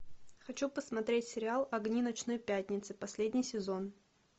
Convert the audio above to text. хочу посмотреть сериал огни ночной пятницы последний сезон